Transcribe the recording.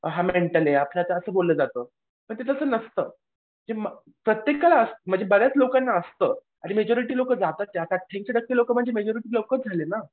हा मेंटल आहे आपल्यात असं बोललं जातं पण ते तसं नसतं प्रत्येकाला म्हणजे बऱ्याच लोकांना असतं आणि मेजॉरिटी लोकं ऐंशी टक्के लोकं म्हणजे मेजॉरिटी लोकंच झाले ना.